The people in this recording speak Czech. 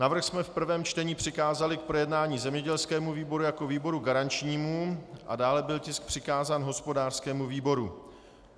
Návrh jsme v prvém čtení přikázali k projednání zemědělskému výboru jako výboru garančnímu a dále byl tisk přikázán hospodářskému výboru.